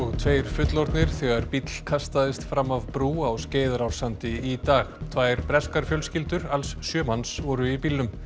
tveir fullorðnir þegar bíll kastaðist fram af brú á Skeiðarársandi í dag tvær breskar fjölskyldur alls sjö manns voru í bílnum